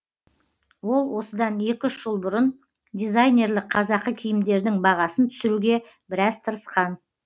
ол осыдан екі үш жыл бұрын дизайнерлік қазақы киімдердің бағасын түсіруге біраз тырысқан